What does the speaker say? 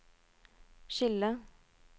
skille